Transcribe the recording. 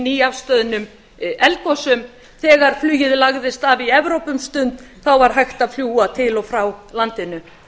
nýafstöðnum eldgosum þegar flugið lagðist af í evrópu um stund var hægt að fljúga til og frá landinu